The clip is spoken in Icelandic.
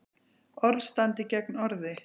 Orð standi gegn orði